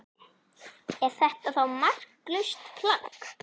Er þetta þá marklaust plagg?